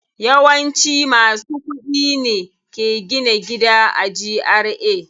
Yawanci masu kuɗi ne ke gina gida a GRA.